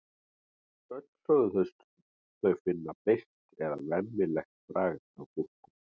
öll sögðust þau finna beiskt eða „vemmilegt“ bragð af gúrkum